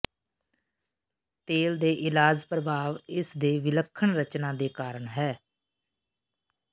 ਤੇਲ ਦੇ ਇਲਾਜ ਪ੍ਰਭਾਵ ਇਸ ਦੇ ਵਿਲੱਖਣ ਰਚਨਾ ਦੇ ਕਾਰਨ ਹੈ